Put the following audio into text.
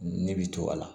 Ne bi to a la